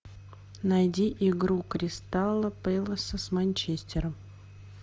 найди игру кристала пэласа с манчестером